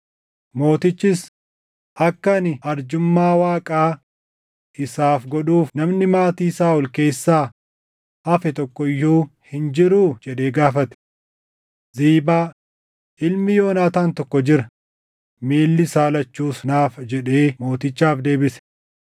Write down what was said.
Mootichis, “Akka ani arjummaa Waaqaa isaaf godhuuf namni maatii Saaʼol keessaa hafe tokko iyyuu hin jiruu?” jedhee gaafate. Ziibaa, “Ilmi Yoonaataan tokko jira; miilli isaa lachuus naafa” jedhee mootichaaf deebise.